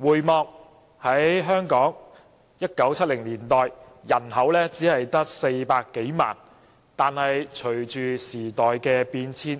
回望1970年代，當時香港人口只有約400多萬人，但隨着時代變遷，